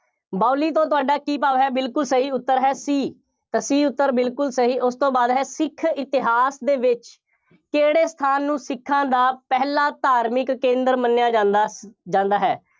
ਬਾਊਲੀ ਤੋਂ ਤੁਹਾਡਾ ਕੀ ਭਾਵ ਹੈ, ਬਿਲਕੁੱਲ ਸਹੀ ਉੱਤਰ ਹੈ, C ਤਾਂ C ਉੱਤਰ ਬਿਲਕੁੱਲ ਸਹੀ, ਉਸ ਤੋਂ ਬਾਅਦ ਹੈ, ਸਿੱਖ ਇਤਿਹਾਸ ਦੇ ਵਿੱਚ ਕਿਹੜੇ ਸਥਾਨ ਨੂੰ ਸਿੱਖਾਂ ਦਾ ਪਹਿਲਾ ਧਾਰਮਿਕ ਕੇਂਦਰ ਮੰਨਿਆ ਜਾਂਦਾ, ਜਾਂਦਾ ਹੈ।